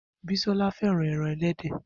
Bisola fẹ́ràn ẹran ẹlẹ́dẹ̀.